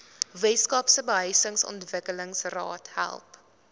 weskaapse behuisingsontwikkelingsraad help